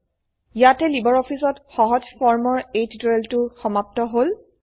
ইয়াতেই LibreOffice ত সহজ ফৰম ৰ এই টিউটোৰিয়েলটো সমাপ্ত হল